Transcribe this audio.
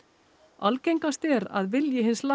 algengast er að vilji hins